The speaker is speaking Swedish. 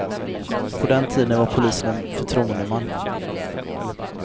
På den tiden var polisen en förtroendeman.